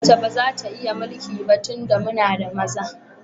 Mace ba za ta iya mulki ba tunda muna da maza.